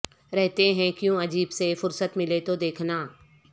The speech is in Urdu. رہتے ہیں کیوں عجیب سے فرصت ملے تو دیکھنا